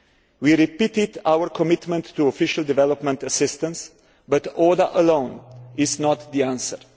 We repeated our commitment to official development assistance, but order alone is not the answer.